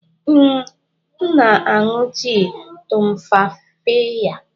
Ee, m na-aṅụ tii tumfafiya.